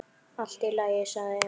Allt í lagi, sagði Emil.